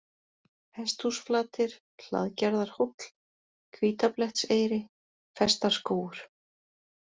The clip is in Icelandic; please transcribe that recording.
Hesthúsflatir, Hlaðgerðarhóll, Hvítablettseyri, Festarskógur